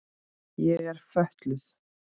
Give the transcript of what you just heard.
Ég er fötluð.